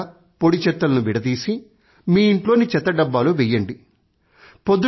తడి చెత్త పొడి చెత్తలను విడదీసి మీ ఇంట్లోని చెత్తడబ్బాలో వెయ్యండి